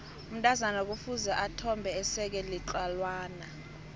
umntazana kufuze ethombe eseke litlawana